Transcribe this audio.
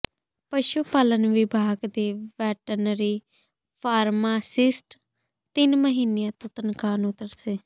ਪਸ਼ੂ ਪਾਲਣ ਵਿਭਾਗ ਦੇ ਵੈਟਨਰੀ ਫ਼ਾਰਮਾਸਿਸਟ ਤਿੰਨ ਮਹੀਨਿਆਂ ਤੋਂ ਤਨਖ਼ਾਹ ਨੂੰ ਤਰਸੇ